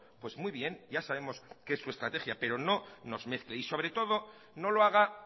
pues muy bien ya sabemos que es su estrategia pero no nos mezcle y sobre todo no lo haga